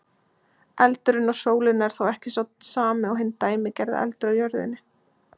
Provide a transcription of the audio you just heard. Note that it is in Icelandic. Eldurinn á sólinni er þó ekki sá sami og hinn dæmigerði eldur á jörðinni.